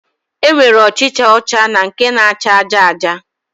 E nwere ọchịcha ọcha na nke na-acha aja aja